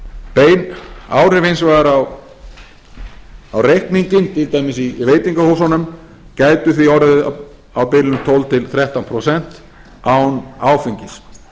bein áhrif hins vegar á reikninginn til dæmis í veitingahúsunum gætu því orðið á bilinu tólf til þrettán prósent án áfengis